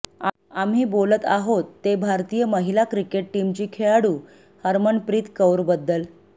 आम्ही बोलत आहोत ते भारतीय महिला क्रिकेट टीमची खेळाडू हरमनप्रीत कौरबद्दल